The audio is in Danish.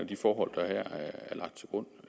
de forhold der er lagt til grund